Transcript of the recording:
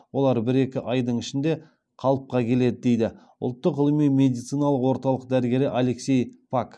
олар бір екі айдың ішінде қалыпқа келеді дейді ұлттық ғылыми медициналық орталық дәрігері алексей пак